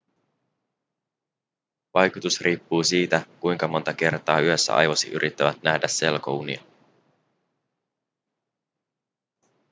vaikutus riippuu siitä kuinka monta kertaa yössä aivosi yrittävät nähdä selkounia